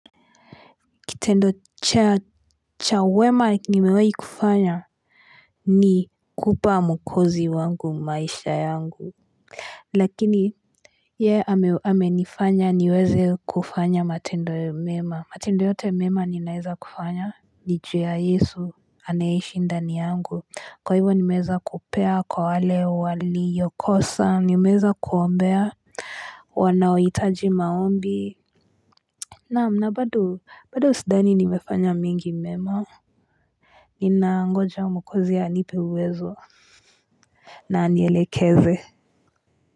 Kitendo cha wema nimewahi kufanya ni kupa mwokozi wangu maisha yangu Lakini yeye amenifanya niweze kufanya matendo mema. Matendo yote mema ninaeza kufanya ni ju ya Yesu anayeishi ndani yangu. Kwa hivyo nimeweza kupea kwa wale waliyokosa, nimeweza kuombea wanaohitaji maombi. Na'am na bado, bado sidhani nimefanya mengi mema Ninangoja mwokozi anipe uwezo na anielekeze.